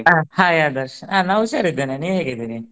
ಆ hai ಆದರ್ಶ್ ಆ ನಾ ಹುಷಾರಿದ್ದೇನೆ. ನೀವ್ ಹೇಗಿದಿರಿ?